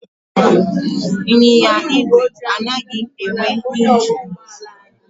Ịnyịnya igwe anaghị enwe ingin.